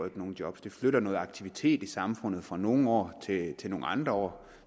ikke nogen job den flytter noget aktivitet i samfundet fra nogle år til nogle andre år